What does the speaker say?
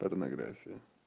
порнография